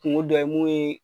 kungo dɔ ye mun ye.